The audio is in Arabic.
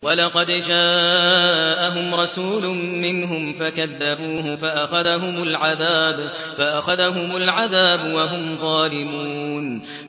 وَلَقَدْ جَاءَهُمْ رَسُولٌ مِّنْهُمْ فَكَذَّبُوهُ فَأَخَذَهُمُ الْعَذَابُ وَهُمْ ظَالِمُونَ